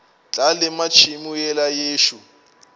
tla lema tšhemo yela yešo